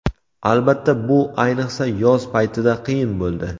Albatta, bu ayniqsa yoz paytida qiyin bo‘ldi.